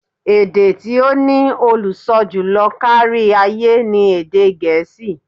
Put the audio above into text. Èdè tí ó ní olùsọ jùlọ kárí-ayé ni èdè Gẹ̀ẹ́sì.